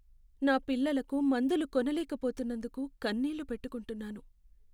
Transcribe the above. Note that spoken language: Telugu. నా పిల్లలకు మందులు కొనలేకపోతున్నందుకు కన్నీళ్ళు పెట్టుకుంటున్నాను.